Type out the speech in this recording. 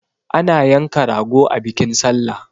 Ana yanka rago a bikin sallah